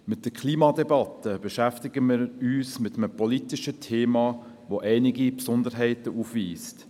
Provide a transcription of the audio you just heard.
Mit der Klimadebatte beschäftigen wir uns mit einem politischen Thema, welches einige Besonderheiten aufweist.